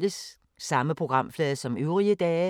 Samme programflade som øvrige dage